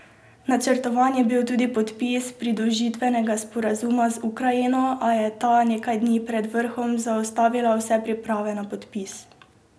Načrtovan je bil tudi podpis pridružitvenega sporazuma z Ukrajino, a je ta nekaj dni pred vrhom zaustavila vse priprave na podpis.